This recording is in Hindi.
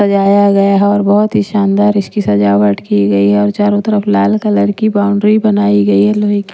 सजाया गया है और बहुत ही शानदार इसकी सजावट की गई है और चारों तरफ लाल कलर की बाउंड्री बनाई गई है लोहे की।